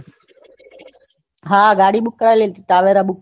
હા ગાડી book કરાવેલી હતી ટવેરા book કરેલી હતી હમ ટવેરા book